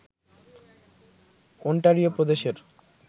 Ontario প্রদেশের